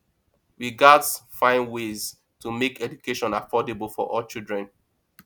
we gats find ways to make education affordable for all children